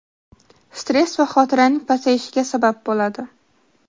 stress va xotiraning pasayishiga sabab bo‘ladi.